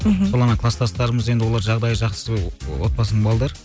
мхм солармен кластастарымыз енді олар жағдайы жақсы отбасының балдары